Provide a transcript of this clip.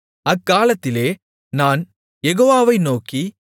அக்காலத்திலே நான் யெகோவாவை நோக்கி